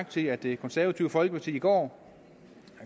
til at det konservative folkeparti i går